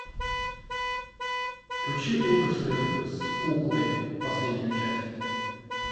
включи ужасы с куклой последнюю часть